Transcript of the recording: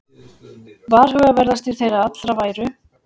Varhugaverðastir þeirra allra væru